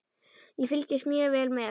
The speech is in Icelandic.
Ég fylgist mjög vel með.